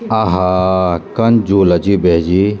अहा कन झूला च यू भेजी।